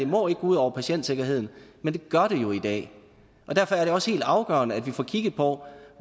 må gå ud over patientsikkerheden men det gør det jo i dag og derfor er det også helt afgørende at vi får kigget på